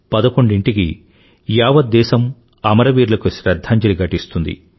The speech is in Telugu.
పదకొండింటికి యావత్ దేశం అమరవీరులకు శ్రధ్ధాంజలి ఘటిస్తుంది